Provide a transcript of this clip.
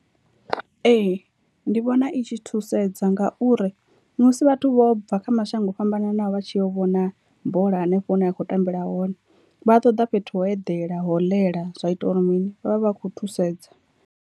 Ee ndi vhona i tshi thusedza ngauri musi vhathu vho bva kha mashango o fhambananaho vha tshi yo vhona bola hanefho hune ya khou tambela hone, vha ṱoḓa fhethu ho eḓela ho ḽela zwa ita uri mini vhavha vha khou thusedza.